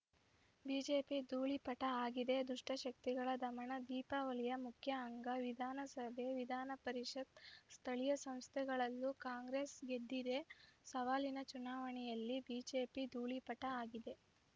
BJP ಧೂಳೀಪಟ ಆಗಿದೆ ದುಷ್ಟಶಕ್ತಿಗಳ ದಮನ ದೀಪಾವಳಿಯ ಮುಖ್ಯ ಅಂಗ ವಿಧಾನಸಭೆ ವಿಧಾನಪರಿಷತ್‌ ಸ್ಥಳೀಯ ಸಂಸ್ಥೆಗಳಲ್ಲೂ ಕಾಂಗ್ರೆಸ್‌ ಗೆದ್ದಿದೆ ಸವಾಲಿನ ಚುನಾವಣೆಯಲ್ಲಿ ಬಿಜೆಪಿ ಧೂಳೀಪಟ ಆಗಿದೆ